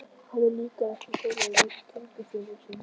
Honum líkaði ekki tónninn í rödd tengdaföður síns.